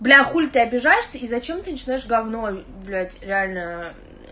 бля хули ты обижаешься и зачем ты начинаешь гавно блядь реально